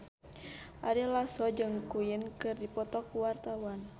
Ari Lasso jeung Queen keur dipoto ku wartawan